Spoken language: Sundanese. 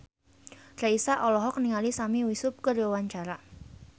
Raisa olohok ningali Sami Yusuf keur diwawancara